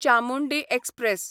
Chamundi express